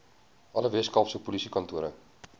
alle weskaapse polisiekantore